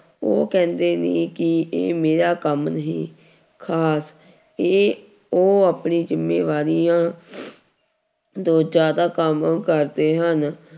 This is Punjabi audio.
ਉਹ ਕਹਿੰਦੇ ਵੀ ਕਿ ਇਹ ਮੇਰਾ ਕੰਮ ਨਹੀਂ, ਖ਼ਾਸ ਇਹ ਉਹ ਆਪਣੀ ਜ਼ਿੰਮੇਵਾਰੀਆਂ ਤੋਂ ਜ਼ਿਆਦਾ ਕੰਮ ਕਰਦੇ ਹਨ।